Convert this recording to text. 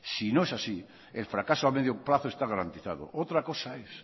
si no es así el fracaso a medio plazo está garantizado otra cosa es